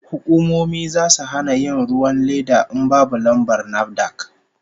Hukumomi zasu hana yin ruwan leda in babu lambar NAFDAC